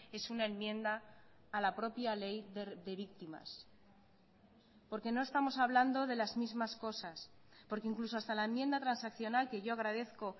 es una enmienda a la propia ley de víctimas porque no estamos hablando de las mismas cosas porque incluso hasta la enmienda transaccional que yo agradezco